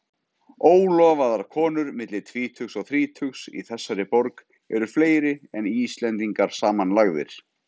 Ólofaðar konur milli tvítugs og þrítugs í þessari borg eru fleiri en Íslendingar samanlagðir.